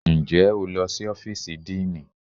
Ǹjẹ́ o lọ sí ọ́fíìsì díìnì?